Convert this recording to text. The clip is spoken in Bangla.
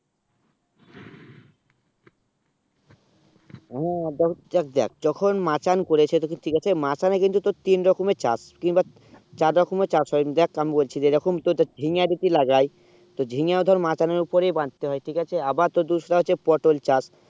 যে চাক দেখ যখন মাচান করেছে ঠিক আছে মাচানে কিন্তু তোর তিন রকমে চাষ টু এইবার চার রকমে চাষ হয়ে দেখ আমি বলছি যেই রকম তোর ঝিঙ্গা যদি লাগাই তো জীবনগাঁও ধর মাচানে উপরে বঝাতে হয়ে ঠিক আছে আবার তোর দুসরা হচ্ছে পটল চাষ